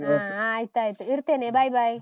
ಹಾ ಆಯ್ತು ಆಯ್ತು. ಇಡ್ತೇನೆ, bye, bye .